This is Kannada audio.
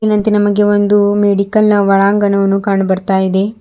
ಮೇಲಿನಂತೆ ನಮಗೆ ಒಂದು ಮೆಡಿಕಲ್ ನ ಒಳಾಂಗಣ ಕಂಡು ಬರ್ತಾ ಇದೆ.